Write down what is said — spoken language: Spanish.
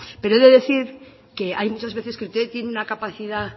pero he de decir que hay muchas veces que usted tiene una capacidad